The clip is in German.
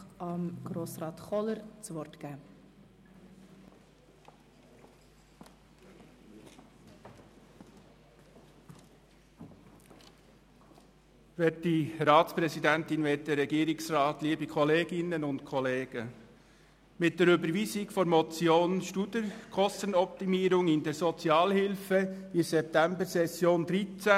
Die aktuelle Diskussion über die Kürzungen in der Sozialhilfe im Kanton Bern startete mit der Überweisung der Motion Studer «Kostenoptimierung in der Sozialhilfe» während der Septembersession 2013.